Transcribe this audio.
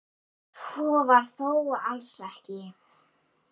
Svo var þó alls ekki.